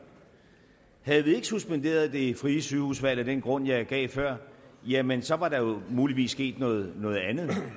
og havde vi ikke suspenderet det frie sygehusvalg af den grund jeg gav før jamen så var der jo muligvis sket noget noget andet det